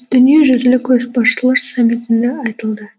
дүниежүзілік көшбасшылар саммитінде айтылды